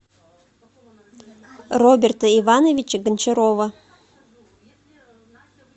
роберта ивановича гончарова